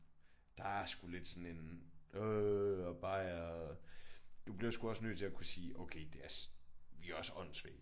Der er sgu lidt sådan en øh og bajer du bliver sgu også nødt til at kunne sige okay det er vi er også åndssvage